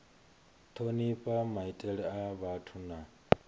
thonifha maitele a vhathu na